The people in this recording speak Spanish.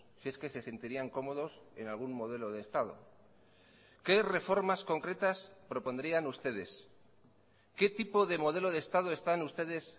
si es que se sentirían cómodos en algún modelo de estado qué reformas concretas propondrían ustedes qué tipo de modelo de estado están ustedes